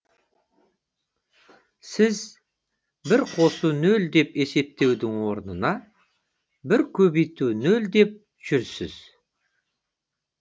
сіз бір қосу нөл деп есептеудің орнына бір икс нөл деп жүрсіз